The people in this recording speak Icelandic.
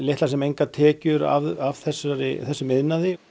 litlar sem engar tekjur af þessum þessum iðnaði